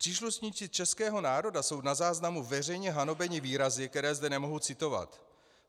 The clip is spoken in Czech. Příslušníci českého národa jsou na záznamu veřejně hanobeni výrazy, které zde nemohu citovat.